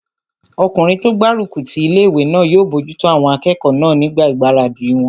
Ọkùnrin tó gbárùkù ti ilé-ìwé náà yóò bojútó àwọn akẹ́kọ̀ọ́ náà nígbà ìgbáradì wọn